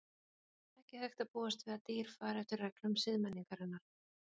Ekki hægt að búast við að dýr fari eftir reglum siðmenningarinnar.